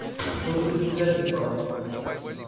что же ты стрелять не стал